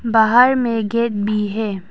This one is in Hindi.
बाहर में गेट भी है।